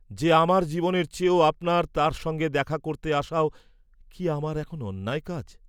যে আমার জীবনের চেয়েও আপনার তার সঙ্গে দেখা করতে আসাও কি আমার এখন অন্যায় কাজ?